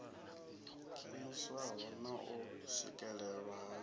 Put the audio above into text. khwiniswaho na u swikelelwa ha